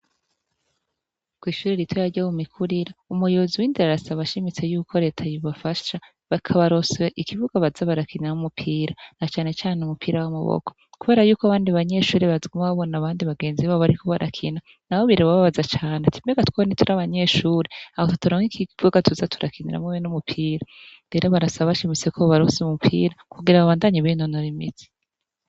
Kw'ishuri rito yarya mumikurira umuyobozi w'indirarasa abashimitse yuko reta yibafasha bakabaroswe ikibuga bazabarakinam' umupira na canecane umupira w'amuboko, kubera yuko abandi banyeshuri bazwima ababona abandi bagenzi bao barikubaarakina na bo birebobabaza cane ati mbega twoba ntituri abanyeshuri aho tuturanwo ikigibwoga tuza turakinura mwwee numupira mbero barasaba bashimise ko bbarose umupira kugira babandanye ibinonora imizi.